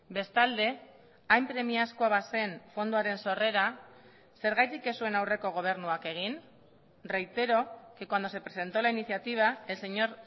bestalde hain premiazkoa bazen fondoaren sorrera zergatik ez zuen aurreko gobernuak egin reitero que cuando se presentó la iniciativa el señor